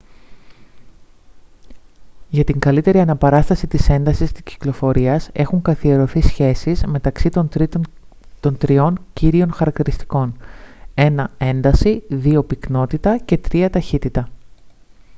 για την καλύτερη αναπαράσταση της έντασης της κυκλοφορίας έχουν καθιερωθεί σχέσεις μεταξύ των τριών κύριων χαρακτηριστικών: 1 ένταση 2 πυκνότητα και 3 ταχύτητα